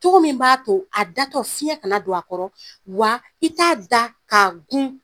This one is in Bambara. Cogo min b'a to a da tɔ fiɲɛ kana don a kɔrɔ . Wa i t'a da ka gun.